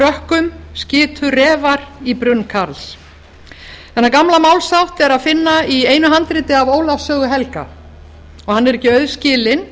rökkum skitu refar í brunn karls þennan gamla málshátt er að finna í einu handriti af ólafs sögu helga og hann er ekki auðskilinn